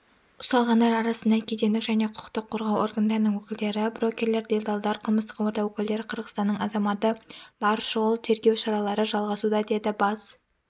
ұсталғандар арасында кедендік және құқықтық қорғау органдарының өкілдері брокерлер делдалдар қылмыстық орта өкілдері қырғызстанның азаматы бар шұғыл-тергеу шаралары жалғасуда деді бас